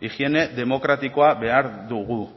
higiene demokratikoa behar dugu